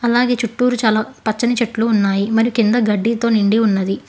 అలాగే చుట్టూరు చాలా పచ్చని చెట్లు ఉన్నాయి మరి కింద గడ్డితో నిండి ఉన్నది.